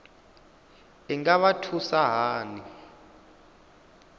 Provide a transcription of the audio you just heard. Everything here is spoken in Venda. i nga vha thusa hani